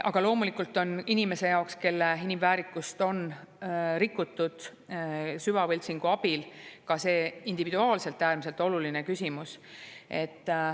Aga loomulikult on inimese jaoks, kelle inimväärikust on süvavõltsingu abil, ka see individuaalselt äärmiselt oluline küsimus.